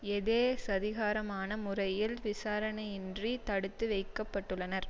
எதேச்சதிகாரமான முறையில் விசாரணையின்றி தடுத்து வைக்க பட்டுள்ளனர்